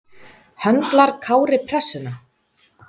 Höndlar Kári pressuna?